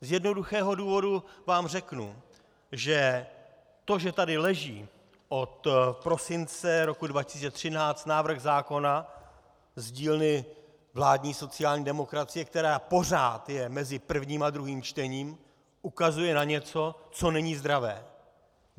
Z jednoduchého důvodu vám řeknu, že to, že tady leží od prosince roku 2013 návrh zákona z dílny vládní sociální demokracie, který pořád je mezi prvním a druhým čtením, ukazuje na něco, co není zdravé.